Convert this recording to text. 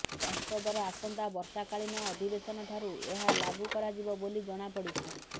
ସଂସଦର ଆସନ୍ତା ବର୍ଷାକାଳୀନ ଅଧିବେଶନଠାରୁ ଏହା ଲାଗୁ କରାଯିବ ବୋଲି ଜଣାପଡ଼ିଛି